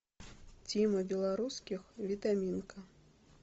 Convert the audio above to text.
тима белорусских витаминка